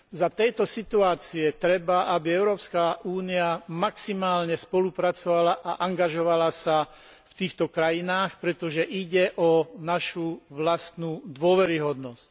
V tejto situácii treba, aby Európska únia maximálne spolupracovala a angažovala sa v týchto krajinách, pretože ide o našu vlastnú dôveryhodnosť.